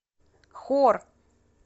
хор